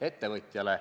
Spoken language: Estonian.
Aitäh!